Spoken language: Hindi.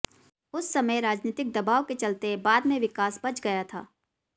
उस समय राजनीतिक दबाव के चलते बाद में विकास बच गया था